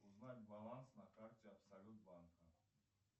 узнать баланс на карте абсолют банка